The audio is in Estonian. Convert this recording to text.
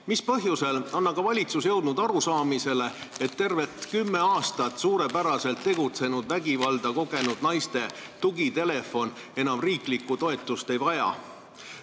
Mis põhjusel on valitsus jõudnud arusaamisele, et vägivalda kogenud naiste tugitelefon, mis tervelt kümme aastat on suurepäraselt tegutsenud, enam riigi toetust ei vaja?